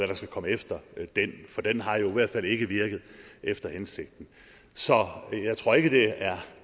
der skal komme efter den for den har jo i hvert fald ikke virket efter hensigten så jeg tror ikke at det er